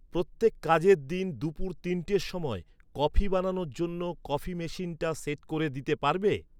প্রত্যেক কাজের দিন দুপুর তিনটের সময় কফি বানানোর জন্য কফি মেশিনটা সেট করে দিতে পারবে?